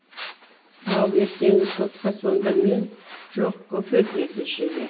ау ертеңгі сотқа сонда мен жоқ көке деді шеге